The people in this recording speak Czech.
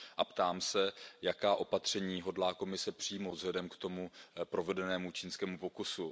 Ptám se Jaká opatření hodlá Komise přijmout vzhledem k tomu provedenému čínskému pokusu?